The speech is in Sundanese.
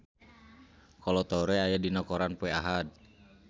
Kolo Taure aya dina koran poe Ahad